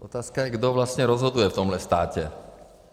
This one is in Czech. Otázka je, kdo vlastně rozhoduje v tomhle státě.